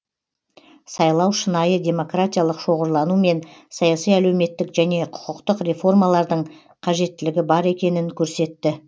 сайлау шынайы демократиялық шоғырлану мен саяси әлеуметтік және құқықтық реформалардың қажеттілігі бар екенін көрсетті